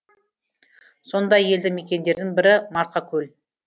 сондай елді мекендердің бірі марқакөл